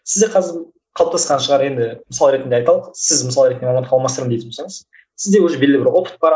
сізде қазір қалыптасқан шығар енді мысал ретінде айталық сіз мысал ретінде мамандық алмастырамын деп тұрсаңыз сізде уже белгілі опыт бар